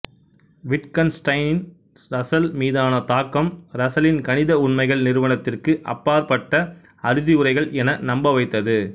விட்கன்ஸ்டைனின் Russell மீதான தாக்கம் ரசலின் கணித உண்மைகள் நிரூபணத்திற்கு அப்பாற்பட்ட அறுதியுரைகள் என நம்பவைத்தது